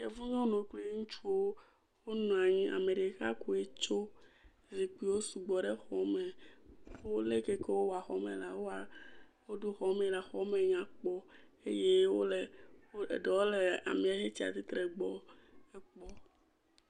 Yevu nyɔnua kple ŋutsuwo. Wonɔ anyi. Ame ɖeka koe tso. Zikpuiwo sugbɔ ɖe xɔme kple le ke he wowɔ xɔ me la, woɖo xɔme la, xɔme nya kpɔ eye wole, eɖewo le ame yike wotsia tsitre ɖe egbɔ.